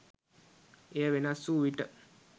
එය වෙනස් වූ විට